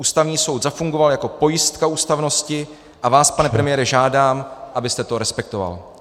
Ústavní soud zafungoval jako pojistka ústavnosti, a vás, pane premiére, žádám, abyste to respektoval.